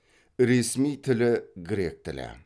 ресми тілі грек тілі